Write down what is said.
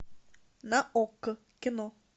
на окко кино